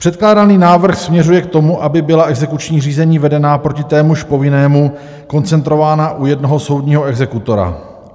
Předkládaný návrh směřuje k tomu, aby byla exekuční řízení vedená proti témuž povinnému koncentrována u jednoho soudního exekutora.